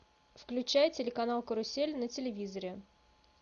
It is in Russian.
включай телеканал карусель на телевизоре